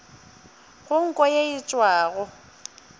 go nko ye e tšwago